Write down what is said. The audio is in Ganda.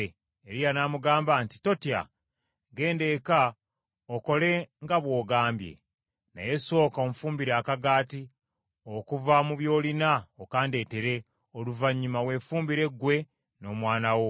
Eriya n’amugamba nti, “Totya. Genda eka okole nga bw’ogambye. Naye sooka onfumbire akagaati, okuva mu by’olina okandeteere, oluvannyuma weefumbire ggwe n’omwana wo.